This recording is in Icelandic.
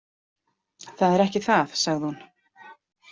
Það er ekki það, sagði hún.